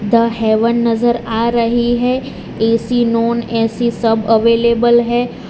The heaven नजर आ रही है ए_सी नॉन ए_सी सब अवेलेबल है।